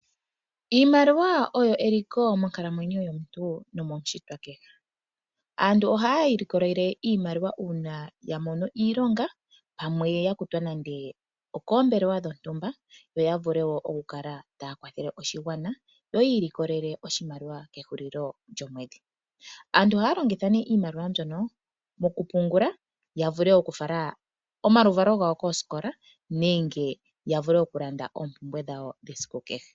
Iimaliwa oyo eliko monkalamwenyo yomuntu nomomushitwa kehe. Aantu oha yi ilikolele iimaliwa uuna yamono iilonga pamwe yakutwa nande okoombelewa dhontumba yo yavule woo okukala taya kwathele oshigwana yo yi ikolele oshimaliwa kehulilo lyomwedhi. Aantu ohaya longitha iimaliwa mbyono mokupungula yavule okufala omaluvalo gawo koosikola nenge yavule okulanda oompumbwe dhawo dhesiku kehe.